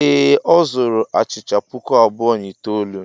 Ee, ọ zuru achịcha puku abụọ na itoolu.